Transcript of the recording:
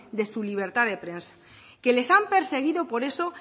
de su libertad de prensa que les han perseguido por eso